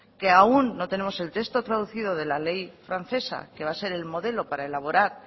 que aún no tenemos el texto traducido de la ley francesa que va a ser el modelo para elaborar